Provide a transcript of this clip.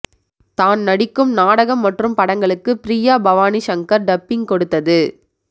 தான் நடிக்கும் நாடகம் மற்றும் படங்களுக்கு ப்ரியா பவானி சங்கர் டப்பிங் கொடுத்தது